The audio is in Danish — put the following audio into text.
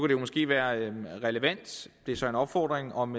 det måske være relevant det er så en opfordring om